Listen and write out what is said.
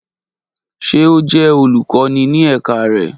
Ṣe o jẹ olukọni ni ẹka rẹ?